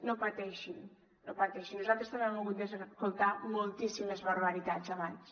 no pateixin no pateixin nosaltres també hem hagut d’escoltar moltíssimes barbaritats abans